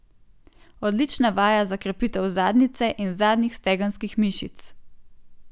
Odlična vaja za krepitev zadnjice in zadnjih stegenskih mišic.